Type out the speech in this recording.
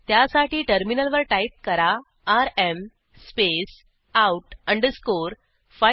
त्यासाठी टर्मिनलवर टाईप करा R M space out underscore file